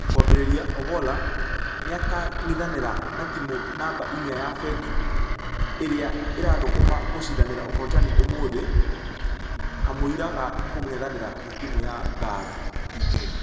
Kũambĩrĩria.......ogolla nĩakangĩthanĩra na timũ namba inya ya fengi erĩa ĩrathũkũma gũshidanĩra ũhotani ũmũthĩ kamũira ga kũngethanĩra na timũ ya ngare wikendi.